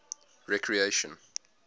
recreation